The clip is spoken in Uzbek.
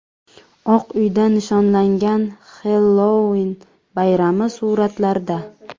Oq uyda nishonlangan Xellouin bayrami suratlarda.